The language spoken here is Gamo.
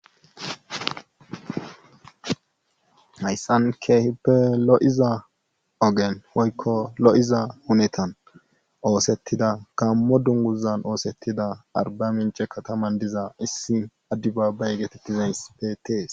Haysan keehippe lo'iza ogen woyko lo'iza hunetan osetida gamo dunguzan osetida arbamince kataman diza issi adebabaye getetizays betes.